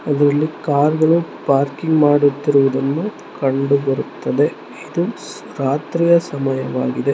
ಇದು ಇಲ್ಲಿ ಕಾರುಗಳು ಪಾರ್ಕಿಂಗ್ ಮಾಡುತ್ತಿರುವುದನ್ನು ಕಂಡುಬರುತ್ತದೆ. ಇದು ರಾತ್ರಿಯ ಸಮಯವಾಗಿದೆ.